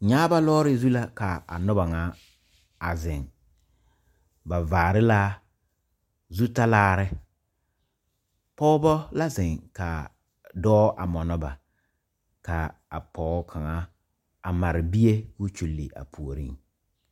Nyaaba lɔɔre zu la ka a noba ŋa a zeŋ ba vaare la zutalaare pɔgeba la zeŋ ka dɔɔ a mɔnɔ ba ka a pɔge kaŋa a mare bie k,o kyulli a puoriŋ.